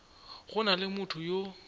go na le motho yo